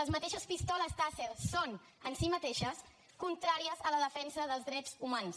les mateixes pistoles tasser són en si mateixes contràries a la defensa dels drets humans